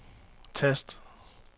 tast